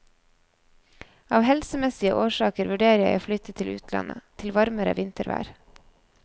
Av helsemessige årsaker vurderer jeg å flytte til utlandet, til varmere vintervær.